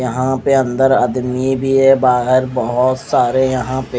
यहाँ पे अन्दर आदमी भी है बहार बोहोत सारे यह पे--